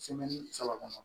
saba kɔnɔ